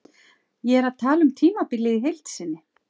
Ég er að tala um tímabilið í heild sinni.